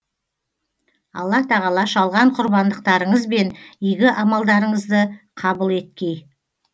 алла тағала шалған құрбандықтарыңыз бен игі амалдарыңызды қабыл еткей